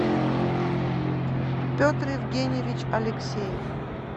петр евгеньевич алексеев